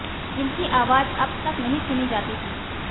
जिनकी आवाज अब तक नहीं सुनी जाती थी